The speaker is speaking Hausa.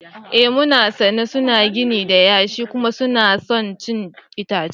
Ee mun sani, suna gini da yashi kuma suna son cin itace.